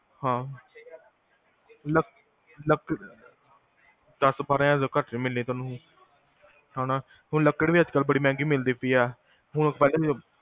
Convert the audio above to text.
ਹਾਂ ਦਸ ਤੋਂ ਬਾਰਾਂ ਹਜ਼ਾਰ ਤੋਂ ਘਟ ਨੀ ਮਿਲਣੀ ਤੁਹਾਨੂੰ ਹੈਨਾ ਹੁਣ ਲੱਕੜ ਵੀ ਅਜਕਲ ਬੜੀ ਮਹਿੰਗੀ ਮਿਲਦੀ ਪਈਆ ਹੁਣ